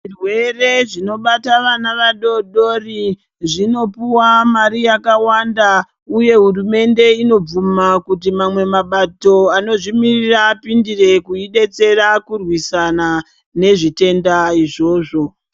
Zvirwere zvinobata vana vadoodori zvinopuwa mari yakawanda uye hurumende inobvuma kuti mamwe mabato anozvimirira apindire kurwisana nezvitenda izvozvo.